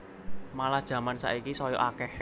Malah jaman saiki saya akeh